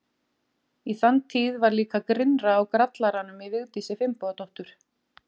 Í þann tíð var líka grynnra á grallaranum í Vigdísi Finnbogadóttur.